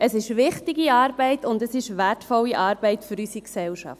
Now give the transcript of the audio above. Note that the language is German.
Es ist wichtige und wertvolle Arbeit für unsere Gesellschaft.